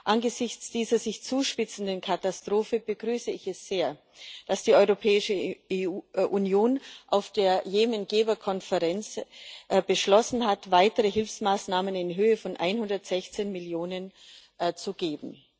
Angesichts dieser sich zuspitzenden Katastrophe begrüße ich es sehr, dass die Europäische Union auf der Jemen Geberkonferenz beschlossen hat, weitere Hilfsmaßnahmen in Höhe von 116 Millionen zu geben.